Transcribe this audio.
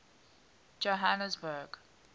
johannesburg